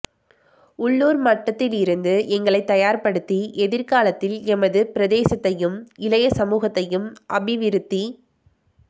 உள்ளுர் மட்டத்திலிருந்து எங்களைத் தயார் படுத்தி எதிர்காலத்தில் எமது பிரதேசத்தையும் இளையசமூகத்ததையும் அபிவிருத்திப்